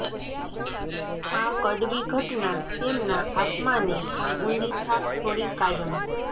આ કડવી ઘટના તેમના આત્માને પર ઊંડી છાપ છોડી કાયમ